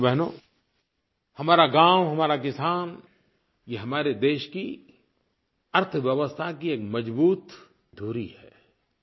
भाइयोबहनो हमारा गाँव हमारा किसान ये हमारे देश की अर्थव्यवस्था की एक मज़बूत धुरी हैं